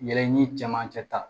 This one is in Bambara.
Yɛlɛ ni cɛmancɛ ta